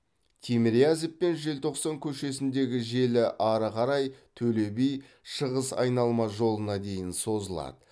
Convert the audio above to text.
тимирязев пен желтоқсан көшесіндегі желі ары қарай төле би шығыс айналма жолына дейін созылады